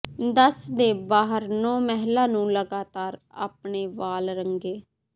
ਦਸ ਦੇ ਬਾਹਰ ਨੌ ਮਹਿਲਾ ਨੂੰ ਲਗਾਤਾਰ ਆਪਣੇ ਵਾਲ ਰੰਗੇ